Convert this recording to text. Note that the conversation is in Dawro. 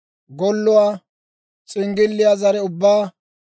golluwaa, s'inggilliyaa zare ubbaa,